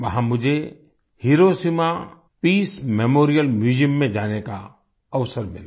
वहां मुझे Hiroshima peace memorial museum में जाने का अवसर मिला